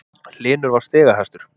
Hlynur var stigahæstur